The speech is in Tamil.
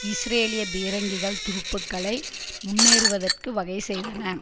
இஸ்ரேலிய பீரங்கிகள் துருப்புக்களை முன்னேறுவதற்கு வகை செய்தன